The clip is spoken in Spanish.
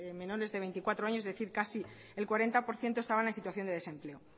menores de veinticuatro años es decir casi es cuarenta por ciento estaban es situación de desempleo